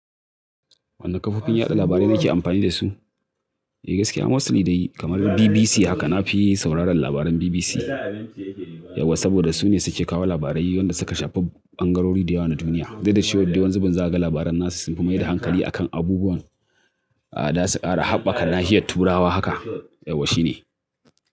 Wane kafofin yada labarai nake amfani dasu? Eh gaskiya, mostly dai kamar BBC haka nafi sauraron labaran BBC. Yauwa saboda su ne suke kawo labarai wanda suka shafi ɓangarori da yawa na duniya. Duk da cewadde wani zubin zaga labaran nasu sun fi mai da hankali a kan abubuwan a da suka kara haɓɓaka nahiyar turawa haka. Yawa shine.